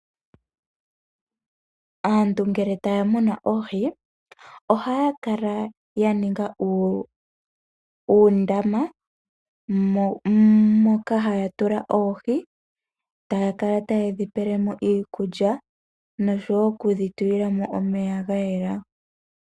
Aantu ngele taamunu oohi, ohaaningi uundama moka haatula oohi, taakala tayedhipelemo iikulya nosho woo okudhitulilamo omeya gayela.